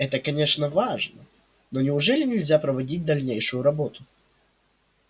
это конечно важно но неужели нельзя проводить дальнейшую работу